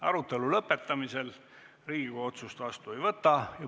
Arutelu lõpetamisel Riigikogu otsust vastu ei võta.